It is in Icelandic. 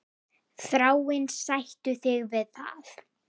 Þráinn, sættu þig við það!